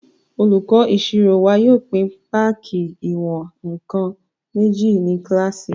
Olùkọ́ ìṣirò wa yóò pín páàkì ìwọ̀n-nkan méjì ní kílásì